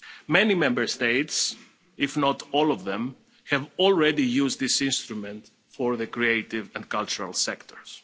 Many Member States, if not all of them, have already used this instrument for the creative and cultural sectors.